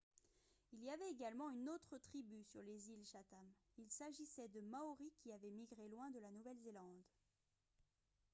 il y avait également une autre tribu sur les îles chatham il s'agissait de maoris qui avaient migré loin de la nouvelle-zélande